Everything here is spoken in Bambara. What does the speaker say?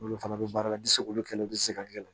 Olu fana bɛ baara la ni se k'olu kɛlaw bɛ se ka gɛrɛ